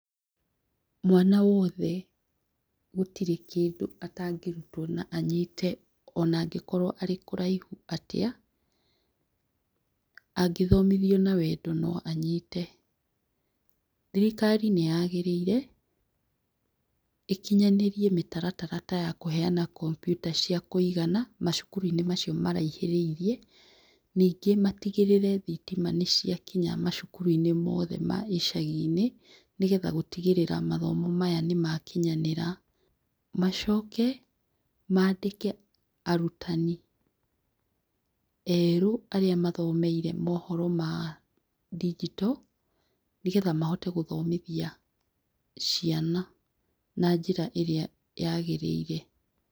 Mwana wothe, gũtirĩ kĩndũ atangĩrutwo na anyite ona angĩkorwo arĩ kũraihu atĩa angĩthomithio na wendo no anyite, thirikari nĩyagĩrĩire ĩkinyanĩire mĩtaratara ta ya kũheana komputa cia kũigana macukuru-inĩ macio maraihĩrĩirie, ningĩ matigĩrĩre thitima nĩ cia kinya macukuru-inĩ mothe ma icagi-inĩ nĩgetha gũtigĩrĩra mathomo maya nĩ makinyanĩra, macoke mandĩke arutani erũ arĩa mathomeire mohoro ma digital nĩgetha mahote gũthomithia ciana na njĩra ĩrĩa yagĩrĩire.